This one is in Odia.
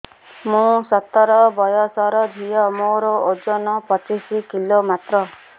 ମୁଁ ସତର ବୟସର ଝିଅ ମୋର ଓଜନ ପଚିଶି କିଲୋ ମାତ୍ର